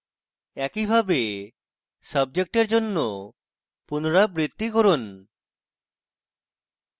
একই ভাবে subject এর জন্য পুনরাবৃত্তি করুন